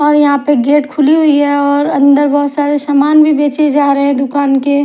और यहाँ पे गेट खुली हुई है और अन्दर बोहोत सारे सामान भी बेचे जा रहे है दूकान के --